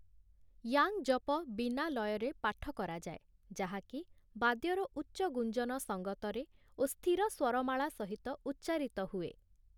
Yang ଜପ' ବିନା ଲୟରେ ପାଠ କରାଯାଏ ଯାହାକି ବାଦ୍ୟର ଉଚ୍ଚ ଗୁଞ୍ଜନ ସଙ୍ଗତରେ ଓ ସ୍ଥିର ସ୍ଵରମାଳା ସହିତ ଉଚ୍ଚାରିତ ହୁଏ ।